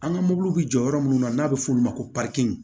An ka mobiliw bɛ jɔ yɔrɔ minnu na n'a bɛ f'o ma ko